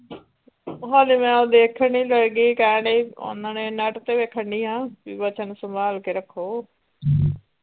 ਹੱਲੇ ਮੈਂ ਦੇਖਣ ਡਈ ਕੀ ਕਹਿਣ ਡਏ ਸੀ ਓਹਨਾ ਨੇ net ਤੇ ਵੇਖਣ ਡਈ ਆ ਬੀ ਬੱਚਨ ਸੰਭਾਲ ਕੇ ਰੱਖੋ .